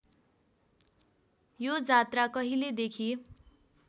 यो जात्रा कहिलेदेखि